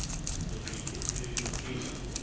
তো সেই ক্ষেত্রে সত্যিই এটা খুব